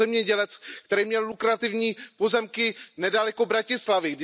Je to zemědělec, který měl lukrativní pozemky nedaleko Bratislavy.